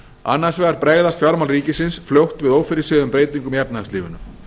annars vegar bregðast fjármál ríkissjóðs fljótt við ófyrirséðum breytingum í efnahagslífinu